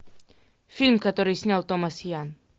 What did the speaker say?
фильм который снял томас ян